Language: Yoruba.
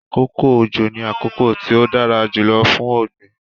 Akókò ọjọ́ ní akókò tí o dara jùlọ̀ fún ogbin